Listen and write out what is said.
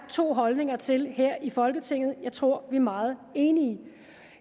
to holdninger til her i folketinget der tror vi er meget enige